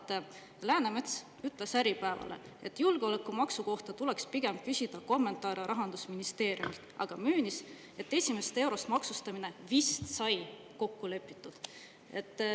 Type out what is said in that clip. ] Läänemets ütles Äripäevale, et julgeolekumaksu kohta tuleks pigem küsida kommentaare rahandusministeeriumilt, aga möönis, et esimesest eurost maksustamine "vist sai tõesti kokku lepitud".